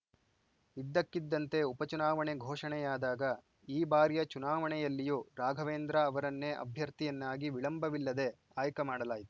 ಇದ್ದಕ್ಕಿದ್ದಂತೆ ಉಪಚುನಾವಣೆ ಘೋಷಣೆಯಾದಾಗ ಈ ಬಾರಿಯ ಚುನಾವಣೆಯಲ್ಲಿಯೂ ರಾಘವೇಂದ್ರ ಅವರನ್ನೇ ಅಭ್ಯರ್ಥಿಯನ್ನಾಗಿ ವಿಳಂಬವಿಲ್ಲದೆ ಆಯ್ಕ ಮಾಡಲಾಯಿತು